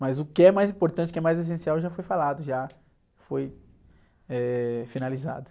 Mas o que é mais importante, o que é mais essencial já foi falado, já foi, eh, finalizado.